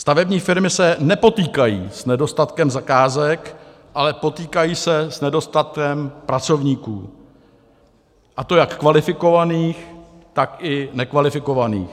Stavební firmy se nepotýkají s nedostatkem zakázek, ale potýkají se s nedostatkem pracovníků, a to jak kvalifikovaných, tak i nekvalifikovaných.